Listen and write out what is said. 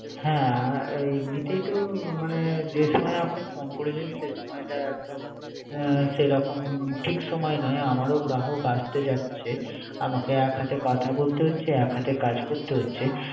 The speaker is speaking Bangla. হ্যা এমনিতেই তো, মানে যে সময় আপনি ফোন করেছেন। যে সময় টা সেরকম ঠিক সময় নয়। আমার ও গ্রাহক আসতে যাচ্ছে। আমাকে এক হাতে কথা বলতে হচ্ছে এক হাতে কাজ করতে হচ্ছে।